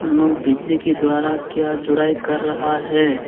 ये लोग बिजली के द्वारा क्या जुड़ाई कर रहा है।